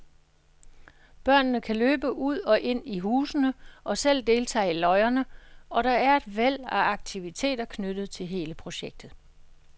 Børnene kan løbe ud og ind i husene og selv deltage i løjerne, og der er et væld af aktiviteter knyttet til hele projektet.